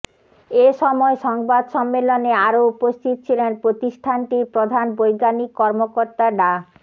এ সময় সংবাদ সম্মেলনে আরো উপস্থিত ছিলেন প্রতিষ্ঠানটির প্রধান বৈজ্ঞানিক কর্মকর্তা ডা